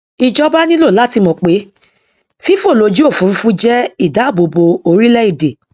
ìjọba nílò láti mọ pé fífòlójúòfurufú jẹ ìdáàbòbò orílẹèdè